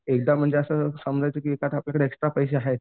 एकदा म्हणजे असं समजायचं की आपल्याकडं एक्स्ट्रा पैसे आहेत